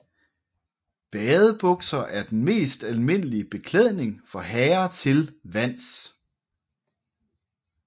Badebukser er den mest almindelige beklædning for herrer til vands